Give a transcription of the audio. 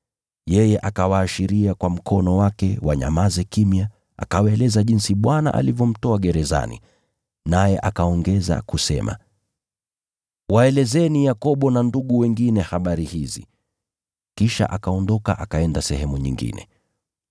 Yeye akawaashiria kwa mkono wake wanyamaze kimya, akawaeleza jinsi Bwana alivyomtoa gerezani. Naye akaongeza kusema, “Waelezeni Yakobo na ndugu wengine habari hizi.” Kisha akaondoka akaenda sehemu nyingine.